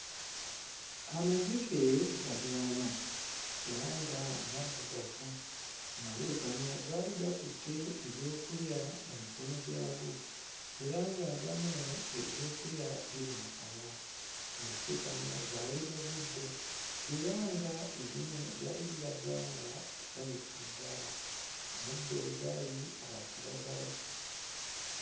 Amazike gali ana era nga maddugavu. Amazike gano gaali gakutte ebyokulya mu mikono gyago era nga agamu ebyokulya biri mu kamwa. Amazike gano gaali mu buddo era ng'erimu lyali liraga nga ssanyufu ddala. Omuddo we gaali gwa kiragala.